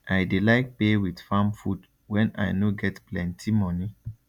i dey like pay with farm food when i no get plenti money